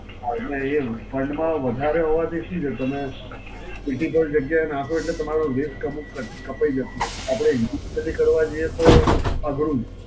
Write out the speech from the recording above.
હાં, એટલે એ fund માં વધારે હોવાથી શું છે? તમે બીજી કોઈ જગ્યાએ નાખો એટલે તમારો ગેસ કપ કપ કપાઈ જતું હોય. આપડે Individually કરવા જઈએ તો અઘરું છે.